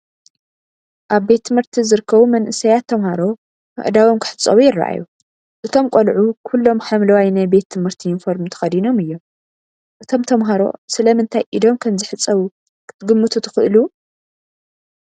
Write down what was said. ኣብ ቤት ትምህርቲ ዝርከቡ መንእሰያት ተማሃሮ ኣእዳዎም ክሕጸቡ ይረኣዩ። እቶም ቆልዑ ኩሎም ሐምላይ ናይ ቤት ትምህርቲ ዩኒፎርም ተኸዲኖም እዮም። እቶም ተማሃሮ ስለምንታይ ኢዶም ከም ዝሕጸቡ ክትግምቱ ትኽእሉ?